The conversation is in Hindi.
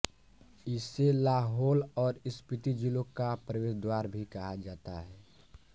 इसे लाहोल और स्पीति जिलों का प्रवेश द्वार भी कहा जाता है